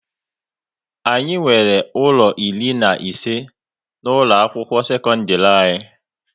Anyị nwere ụlọ iri na ise na ụlọ akwụkwọ sekondiri anyị